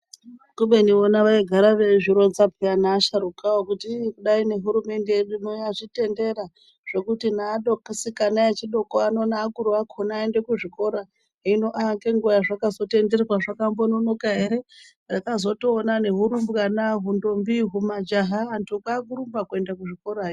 Kubeni vona vaigara veizvironza peyani vasharukwa kuti kudai hurumende yedu yazvitendera kuti ana asikana adoko neakuru acho aendewo kuzvikora. Hino ngenguwa zvakazotenderwa zvakambononoka ere. Takazotoona hurumbwana, majaha nentombi vakurumba kuende kuzvikorayo.